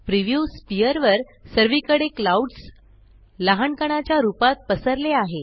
preview स्फियर वर सर्वीकडे क्लाउड्स लाहाण कणाच्या रूपात पसरले आहे